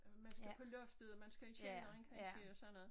Man skal på loftet og man skal i kælderen kansje og sådan noget